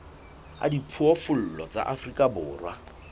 a diphoofolo tsa afrika borwa